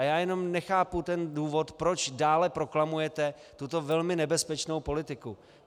A já jenom nechápu ten důvod, proč dále proklamujete tuto velmi nebezpečnou politiku.